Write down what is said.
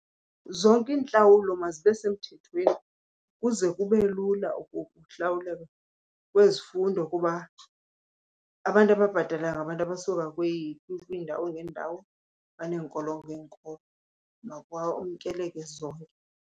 Zonke iintlawulo mazibe semthethweni ukuze kube lula ukuhlawuleka kwezifundo, kuba abantu ababhatalayo ngabantu abasuka kwiindawo ngeendawo baneenkolo ngeenkolo, makwamkeleke zonke.